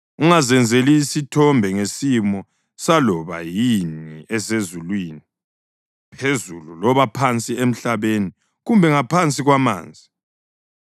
Ungazenzeli isithombe ngesimo saloba yini esezulwini phezulu loba phansi emhlabeni kumbe ngaphansi kwamanzi.